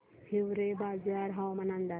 हिवरेबाजार हवामान अंदाज